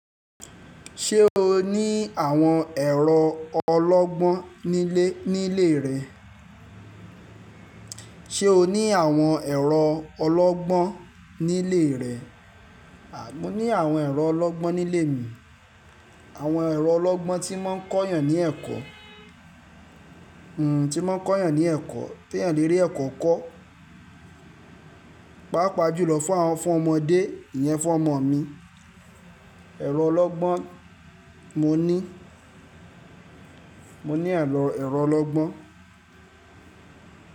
Ṣé o ní àwọn ẹ̀rọ ọlọ́gbọ́n nílé, nílé rẹ? Ṣé o ní àwọn ẹ̀rọ ọlọ́gbọ́n nílé rẹ? Mo ní àwọn ẹ̀rọ ọlọ́gbọ́n nílé mi. Àwọn ẹ̀rọ ọlọ́gbọ́n tí mọ́n ń kọ́ yàn ní ẹ̀kọ́. Tí mọ́n ń kọ́ yàn ní ẹ̀kọ́, te èèyàn lè rí ẹ̀kọ́ kọ́. Páàpàá jùlọ fún àwọn, fún ọmọdé, ìyẹn fún ọmọ mi. Ẹ̀rọ ọlọ́gbọ́n mo ní. Mo ní àlọ́ ẹ̀rọ ọlọ́gbọ́n.